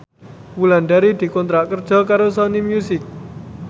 Wulandari dikontrak kerja karo Sony Music